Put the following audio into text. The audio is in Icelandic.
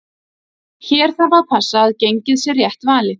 Hér þarf að passa að gengið sé rétt valið.